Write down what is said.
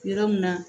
Yɔrɔ min na